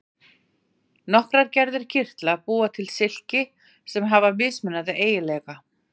Nokkrar gerðir kirtla búa til silki sem hafa mismunandi eiginleika.